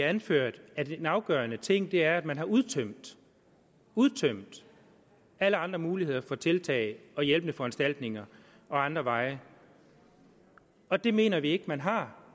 anføres at en afgørende ting er at man har udtømt udtømt alle andre muligheder for tiltag og hjælpende foranstaltninger og andre veje og det mener vi ikke man har